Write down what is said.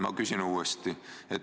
Ma küsin uuesti.